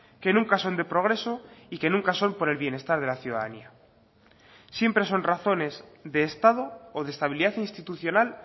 que nunca son de progreso y que nunca son por el bienestar de la ciudadanía siempre son razones de estado o de estabilidad institucional